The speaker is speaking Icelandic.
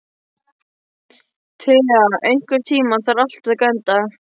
Thea, einhvern tímann þarf allt að taka enda.